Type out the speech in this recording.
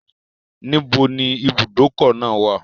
Níbo ni ìbùdókọ̀ náà wà?